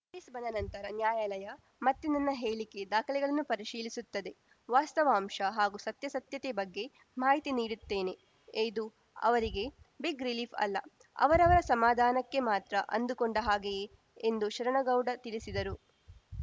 notice ಬಂದ ನಂತರ ನ್ಯಾಯಾಲಯ ಮತ್ತೆ ನನ್ನ ಹೇಳಿಕೆ ದಾಖಲೆಗಳನ್ನು ಪರಿಶೀಲಿಸುತ್ತದೆ ವಾಸ್ತವಾಂಶ ಹಾಗೂ ಸತ್ಯಾಸತ್ಯತೆ ಬಗ್ಗೆ ಮಾಹಿತಿ ನೀಡುತ್ತೇನೆ ಇದು ಅವರಿಗೆ ಬಿಗ್‌ ರಿಲೀಫ್‌ ಅಲ್ಲ ಅವರವರ ಸಮಾಧಾನಕ್ಕೆ ಮಾತ್ರ ಅಂದುಕೊಂಡ ಹಾಗೆಯೇ ಎಂದು ಶರಣಗೌಡ ತಿಳಿಸಿದರು